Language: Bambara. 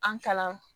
An kalan